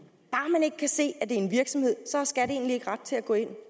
man ikke kan se at om en virksomhed så har skat egentlig ikke ret til at gå ind